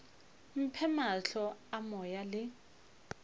mphe mahlo a moya le